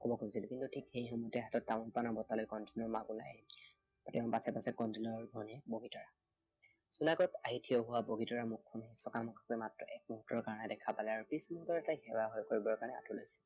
কিন্তু ঠিক সেই সময়তে হাতত তামোল পানৰ বঁটা লৈ কণতিলৌৰ মাক ওলাই আহিল। তাৰ পাছে পাছে কণটিলৌৰ ভনীয়েক বগীতৰা। জোনাকত আহি ঠিয় হোৱা বগীতৰাৰ মুখখন চকামকাকৈ মাত্ৰ এক মুহুৰ্তৰ কাৰণেহে দেখা পালে। আৰু পিছ মুহুৰ্ততে তাই সেৱাভাগ কৰিবৰ কাৰণে আঠু লৈছে